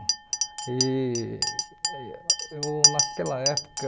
E eu, naquela época...